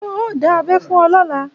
Ṣé wọn ò dá abẹ́ fún ọ lọ́la?